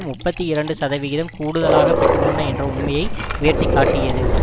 முப்பத்தி இரண்டு சதவிகிதம் கூடுதலாக பெற்றுள்ளன என்ற உண்மையை உயர்த்தி காட்டியது